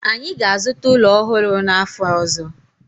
anyi ga-azuta ulo ohuru n'afo ozo